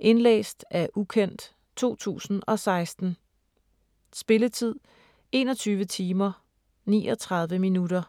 Indlæst af ukendt, 2016. Spilletid: 21 timer, 39 minutter.